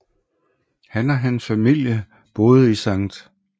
Han og hans familie boede i St